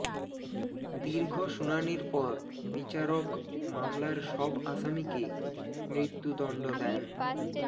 দীর্ঘ শুনানির পর বিচারক মামলার সব আসামিকে মৃত্যুদণ্ড দেন